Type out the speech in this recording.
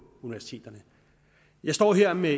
universiteterne jeg står her med